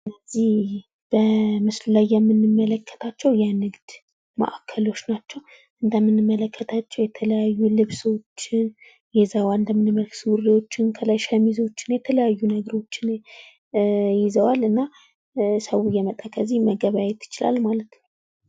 እነዚህ በምስሉ ላይ የምንመለከታቸው የንግድ ማዕከሎች ናቸው። እንደምንመለከተው የተለያዩ ልብሶችን ሱሪዎችን ከላይ ሸሚዞችን የተለያዩ ነገሮችን ይዘዋል እና ሰው እየመጣ ከዚህ መገበያየት ይችላል ማለት ነው።